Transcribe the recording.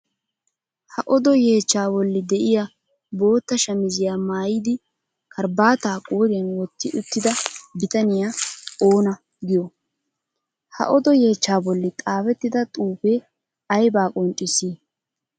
Ha odo yeechchaa bolli de'iya bootta shamiziya maayidi karabaataa qooriyan wotti uttida bitaniya oona giyoo? Ha odo yeechchaa bolli xaafettida xuufee aybaa qonccissii?